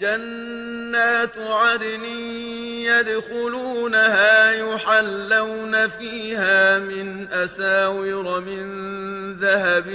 جَنَّاتُ عَدْنٍ يَدْخُلُونَهَا يُحَلَّوْنَ فِيهَا مِنْ أَسَاوِرَ مِن ذَهَبٍ